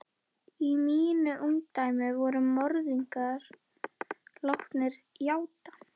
Í mínu ungdæmi voru morðingjar látnir játa.